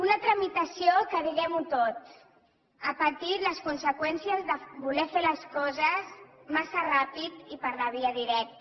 una tramitació que diguemho tot ha patit les conseqüències de voler fer les coses massa ràpidament i per la via directa